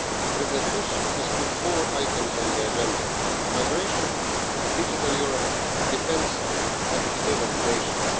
President Tusk has put four items on the agenda migration, digital Europe, defence and external relations.